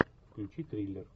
включи триллер